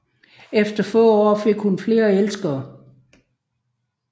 Efter få år fik hun flere elskere